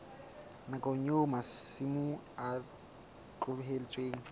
nakong eo masimo a tlohetsweng